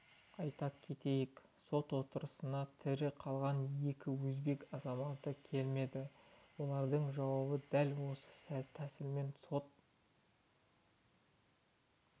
айта кетейік сот отырысына тірі қалған екі өзбек азаматы келмеді олардың жауабы дәл осы тәсілмен сот